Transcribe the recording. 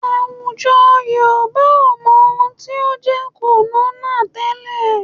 Àwùjọ Yorùbá ò mọ ohun tí ó ń jẹ́ kònónà tẹ́lẹ̀